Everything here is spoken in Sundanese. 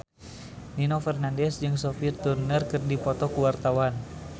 Nino Fernandez jeung Sophie Turner keur dipoto ku wartawan